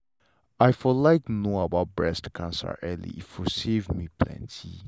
i for like know about breast cancer early e for save me plenty.